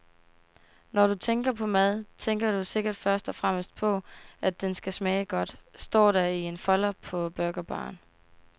Når du tænker på mad, tænker du sikkert først og fremmest på, at den skal smage godt, står der i en folder på burgerbaren.